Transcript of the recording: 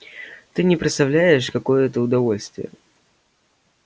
ты не представляешь какое это удовольствие